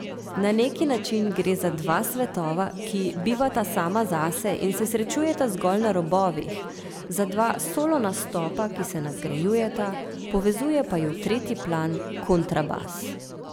Na neki način gre za dva svetova, ki bivata sama zase in se srečujeta zgolj na robovih, za dva solo nastopa, ki se nadgrajujeta, povezuje pa ju tretji plan, kontrabas.